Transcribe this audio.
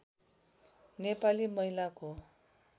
नेपाली महिलाको